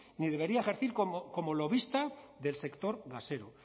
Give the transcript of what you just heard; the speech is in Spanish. ni debería ejercer como lobista del sector gasero